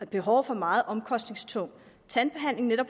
behov for meget omkostningstung tandbehandling eller